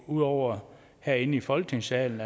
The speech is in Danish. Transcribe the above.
ud over herinde i folketingssalen